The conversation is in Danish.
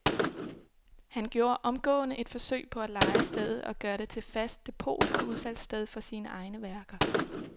Han gjorde omgående et forsøg på at leje stedet og gøre det til fast depot og udsalgssted for sine egne værker.